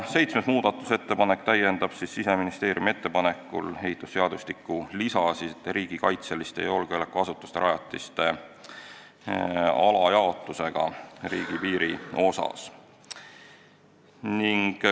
Seitsmes muudatusettepanek täiendab Siseministeeriumi ettepanekul ehitusseadustiku lisade riigikaitselise ja julgeolekuasutuse rajatise alajaotust riigipiiri taristu osaga.